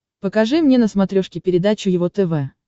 покажи мне на смотрешке передачу его тв